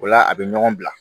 O la a bɛ ɲɔgɔn bila